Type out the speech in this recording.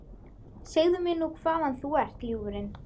Segðu mér nú hvaðan þú ert, ljúfurinn?